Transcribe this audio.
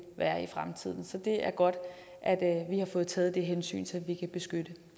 være i fremtiden så det er godt at vi har fået taget det hensyn så vi kan beskytte